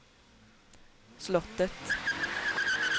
slottet